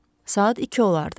Saat 2 olardı.